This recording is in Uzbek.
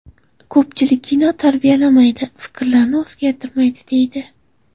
Ko‘pchilik kino tarbiyalamaydi, fikrlarni o‘zgartirmaydi, deydi.